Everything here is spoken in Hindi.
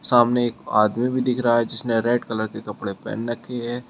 सामने एक आदमी भी दिख रहा है जिसने रेड कलर के कपड़े पहन रखी है।